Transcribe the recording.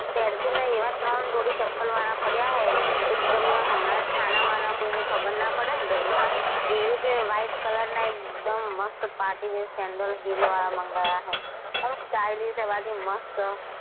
pencil ને એવાં ત્રણ જોડી ચપ્પલ મારા પડ્યા છે એક તો હમણાં જ હું છાના માના કોઈને ખબર ના પડે ઘરમાં એવી રીતે white color ના એક દમ મસ્ત party wear sandel hill વાળા મંગાયા છે અને stylish એવા છે મસ્ત.